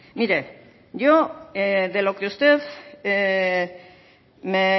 mire yo de lo que usted me